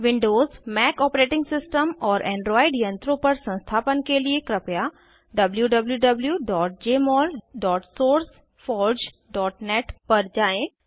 Windows Mac OS और Android यंत्रों पर संस्थापन के लिए कृपया wwwjmolsourceforgenet पर जाएँ